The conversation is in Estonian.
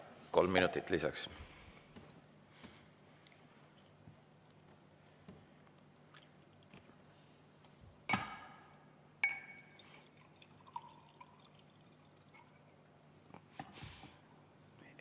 Kolm minutit lisaks.